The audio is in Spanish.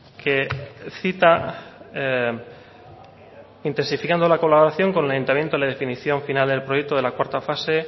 que cita intensificando la colaboración con el ayuntamiento la definición final del proyecto de la cuarto fase